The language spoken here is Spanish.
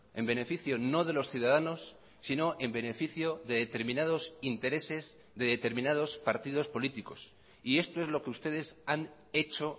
en beneficio no de los ciudadanos sino en beneficio de determinados intereses de determinados partidos políticos y esto es lo que ustedes han hecho